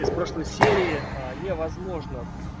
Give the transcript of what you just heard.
из прошлой серии а невозможно